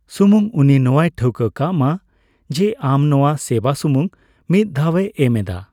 ᱥᱩᱢᱩᱝ ᱩᱱᱤ ᱱᱚᱣᱟᱭ ᱴᱷᱟᱹᱣᱠᱟᱹ ᱠᱟᱜ ᱢᱟ ᱡᱮ ᱟᱢ ᱱᱚᱣᱟ ᱥᱮᱣᱟ ᱥᱩᱢᱝ ᱢᱤᱫ ᱫᱷᱟᱣ ᱮ ᱮᱢ ᱮᱫᱟ ᱾